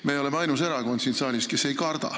Me oleme ainus erakond siin saalis, kes ei karda.